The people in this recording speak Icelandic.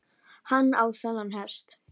Hann á þennan hest.